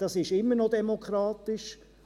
Das ist immer noch demokratisch.